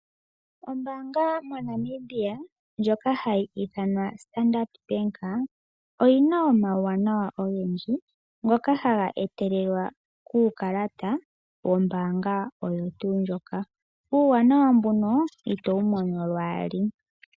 Ombaanga moNamibia ndjoka hayi ithanwa Standard oyina omawunawa ogendji ngoka haga etelelwa kuukalata wombaanga oyo tuu ndjoka. Uuwanawa mbono ito wumono lwaali.